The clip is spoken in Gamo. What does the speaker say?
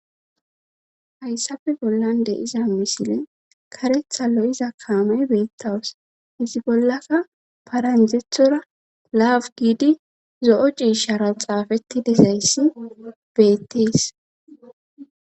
hayssappe bollan de iza misile karetha lo7iza kaamey beettawus izi bollaka paranjethora laafu giidi zo7o ciishara xaafetti dezayssi beettees